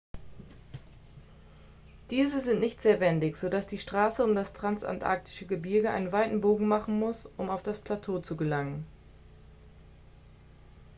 diese sind nicht sehr wendig sodass die straße um das transantarktische gebirge einen weiten bogen machen muss um auf das plateau zu gelangen